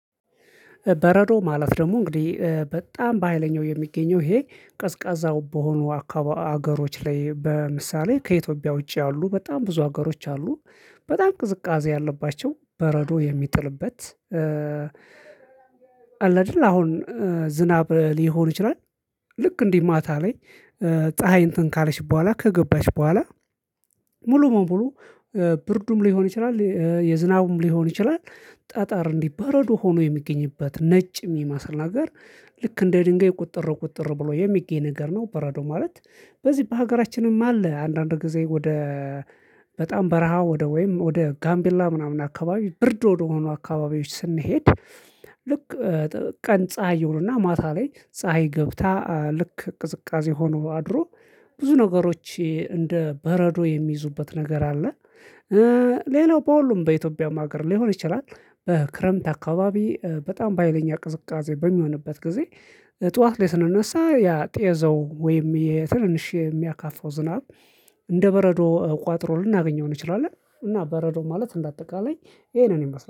በረዶ ማለት ደግሞ እንግዲህ በጣም በሃይለኛው የሚገኘው ይሄ ቀዝቃዛው በሆኑ አካባቢ ሀገሮች ላይ በምሳሌ ከኢትዮጵያ ውጪ ያሉ በጣም ብዙ አገሮች አሉ። በጣም ቅዝቃዜ ያለባቸው በረዶ የሚጥልበት አለ ግል አሁን ዝናብ ሊሆን ይችላል። ልክ እንዲህ ማታ ላይ ፀሀይ እንትን ካለች በኋላ ከገባች በኋላ ሙሉ በሙሉ ብርዱም ሊሆን ይችላል የዝናቡም ሊሆን ይችላል። ጠጠር እንዲህ በረዶ ሆኖ የሚገኝበት ነጭ የሚመስል ነገር ልክ እንደ ድንጋይ ቁጥር ቁጥር ብሎ የሚገኝ ነገር ነው። በረዶ ማለት በዚህ በሀገራችንም አለ። አንዳንድ ጊዜ ወደ በጣም በረሃ ወደ ወይም ወደ ጋምቢላ ምናምን አካባቢ ብርድ ወደሆኑ አካባቢዎች ስንሄድ። ልክ ቀን ፀሀይ ይውሉና ማታ ላይ ፀሀይ ገብታ ልክ ቅዝቃዜ ሆኖ አድሮ ብዙ ነገሮች እንደ በረዶ የሚይዙበት ነገር አለ። ሌላው በሁሉም በኢትዮጵያም ሀገር ሊሆን ይችላል። በክረምት አካባቢ በጣም በሃይለኛ ቅዝቃዜ በሚሆንበት ጊዜ። ጠዋት ላይ ስንነሳ ያ ጤዛው ወይም ትንሽ የሚያካፋው ዝናብ እንደ በረዶ ቋጥሮ ልናገኘው እንችላለን። እና በረዶ ማለት እንደ አጠቃላይ ይሄንን ይመስላል